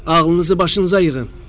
“Ağlınızı başınıza yığın.